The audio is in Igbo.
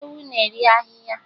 Ewu na-eri ahịhịa